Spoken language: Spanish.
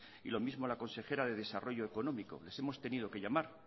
y lo mismo a la consejera de desarrollo económico les hemos tenido que llamar